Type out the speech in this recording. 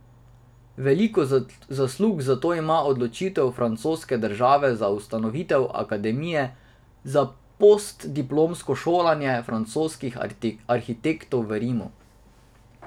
Veliko zaslug za to ima odločitev francoske države za ustanovitev akademije za postdiplomsko šolanje francoskih arhitektov v Rimu.